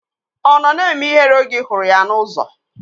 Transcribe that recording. Ọ nọ na-eme ihere oge ị hụrụ ya n'ụzọ?